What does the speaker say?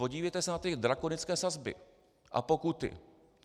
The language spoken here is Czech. Podívejte se na ty drakonické sazby a pokuty.